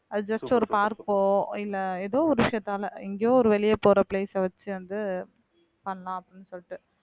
அது just ஒரு park ஓ இல்ல ஏதோ ஒரு விஷயத்தால எங்கயோ ஒரு வெளிய போற place அ வச்சு வந்து பண்ணலாம் அப்படின்னு சொல்லிட்டு